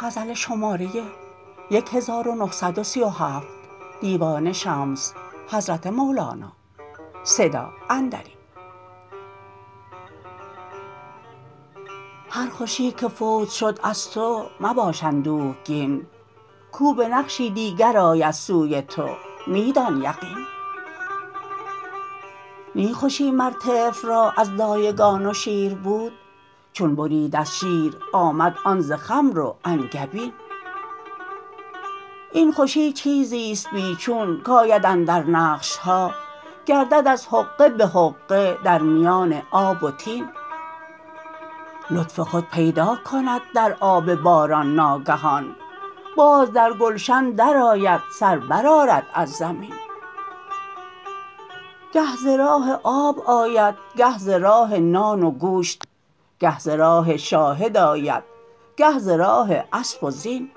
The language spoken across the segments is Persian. هر خوشی که فوت شد از تو مباش اندوهگین کو به نقشی دیگر آید سوی تو می دان یقین نی خوشی مر طفل را از دایگان و شیر بود چون برید از شیر آمد آن ز خمر و انگبین این خوشی چیزی است بی چون کآید اندر نقش ها گردد از حقه به حقه در میان آب و طین لطف خود پیدا کند در آب باران ناگهان باز در گلشن درآید سر برآرد از زمین گه ز راه آب آید گه ز راه نان و گوشت گه ز راه شاهد آید گه ز راه اسب و زین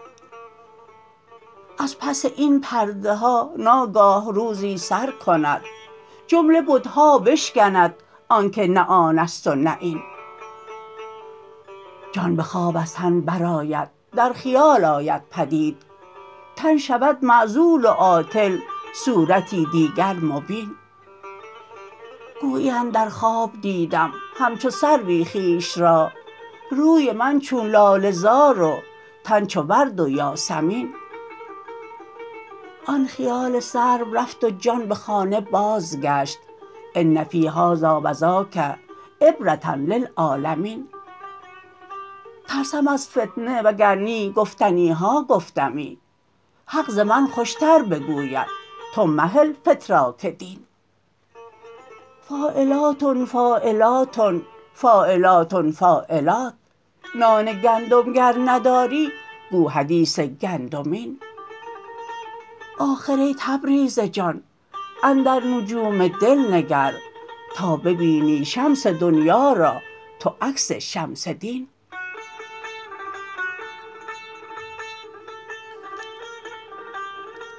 از پس این پرده ها ناگاه روزی سر کند جمله بت ها بشکند آنک نه آن است و نه این جان به خواب از تن برآید در خیال آید بدید تن شود معزول و عاطل صورتی دیگر مبین گویی اندر خواب دیدم همچو سروی خویش را روی من چون لاله زار و تن چو ورد و یاسمین آن خیال سرو رفت و جان به خانه بازگشت ان فی هذا و ذاک عبرة للعالمین ترسم از فتنه وگر نی گفتنی ها گفتمی حق ز من خوشتر بگوید تو مهل فتراک دین فاعلاتن فاعلاتن فاعلاتن فاعلات نان گندم گر نداری گو حدیث گندمین آخر ای تبریز جان اندر نجوم دل نگر تا ببینی شمس دنیا را تو عکس شمس دین